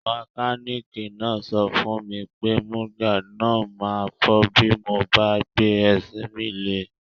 Mẹkánìkì náà sọ fún mi pé mudguard náà ma fọ́ bí mo bá gbé ẹsẹ̀ mi lé